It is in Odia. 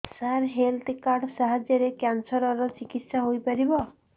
ସାର ହେଲ୍ଥ କାର୍ଡ ସାହାଯ୍ୟରେ କ୍ୟାନ୍ସର ର ଚିକିତ୍ସା ହେଇପାରିବ